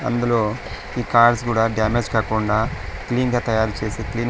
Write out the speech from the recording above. అందులో ఈ కార్స్ కూడా డామేజ్ కాకుండా క్లీన్ గా తయారు చేసే క్లీన్ .